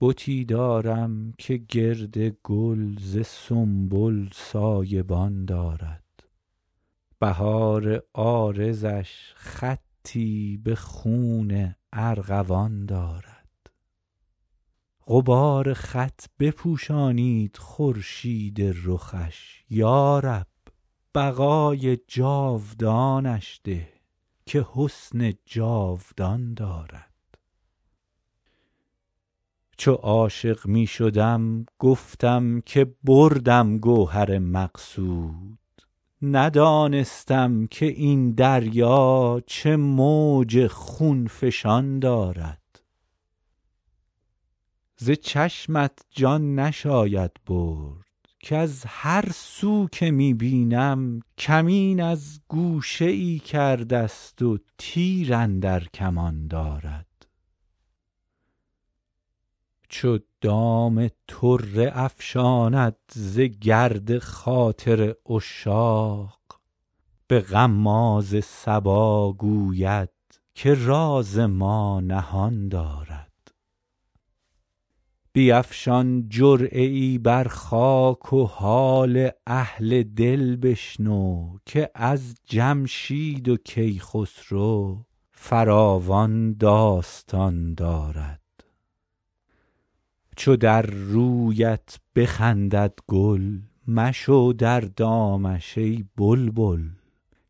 بتی دارم که گرد گل ز سنبل سایه بان دارد بهار عارضش خطی به خون ارغوان دارد غبار خط بپوشانید خورشید رخش یا رب بقای جاودانش ده که حسن جاودان دارد چو عاشق می شدم گفتم که بردم گوهر مقصود ندانستم که این دریا چه موج خون فشان دارد ز چشمت جان نشاید برد کز هر سو که می بینم کمین از گوشه ای کرده ست و تیر اندر کمان دارد چو دام طره افشاند ز گرد خاطر عشاق به غماز صبا گوید که راز ما نهان دارد بیفشان جرعه ای بر خاک و حال اهل دل بشنو که از جمشید و کیخسرو فراوان داستان دارد چو در رویت بخندد گل مشو در دامش ای بلبل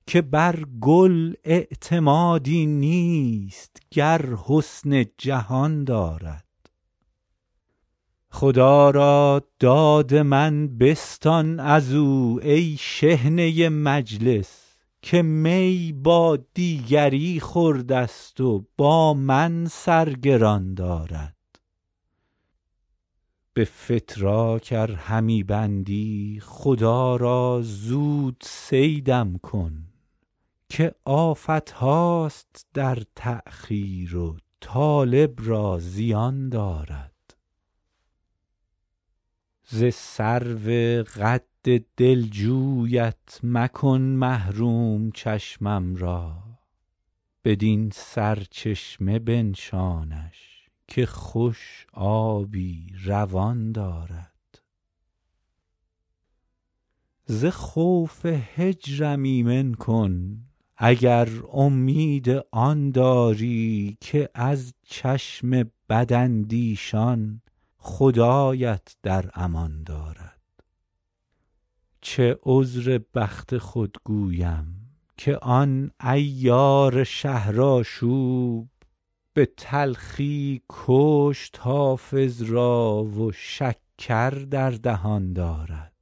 که بر گل اعتمادی نیست گر حسن جهان دارد خدا را داد من بستان از او ای شحنه مجلس که می با دیگری خورده ست و با من سر گران دارد به فتراک ار همی بندی خدا را زود صیدم کن که آفت هاست در تأخیر و طالب را زیان دارد ز سرو قد دلجویت مکن محروم چشمم را بدین سرچشمه اش بنشان که خوش آبی روان دارد ز خوف هجرم ایمن کن اگر امید آن داری که از چشم بداندیشان خدایت در امان دارد چه عذر بخت خود گویم که آن عیار شهرآشوب به تلخی کشت حافظ را و شکر در دهان دارد